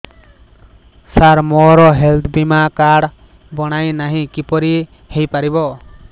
ସାର ମୋର ହେଲ୍ଥ ବୀମା କାର୍ଡ ବଣାଇନାହିଁ କିପରି ହୈ ପାରିବ